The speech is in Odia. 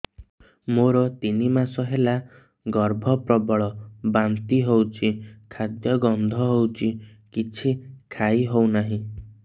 ମୋର ତିନି ମାସ ହେଲା ଗର୍ଭ ପ୍ରବଳ ବାନ୍ତି ହଉଚି ଖାଦ୍ୟ ଗନ୍ଧ ହଉଚି କିଛି ଖାଇ ହଉନାହିଁ